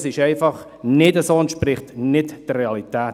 Dies ist einfach nicht so, es entspricht nicht der Realität.